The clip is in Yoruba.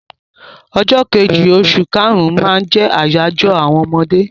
Ọjọ́ kejì oṣù kàrún-ún máa jẹ́ àyájọ́ àwọn ọmọdé.